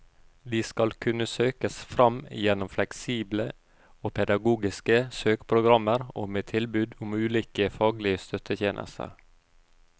De skal kunne søkes fram gjennom fleksible og pedagogiske søkeprogrammer og med tilbud om ulike faglige støttetjenester.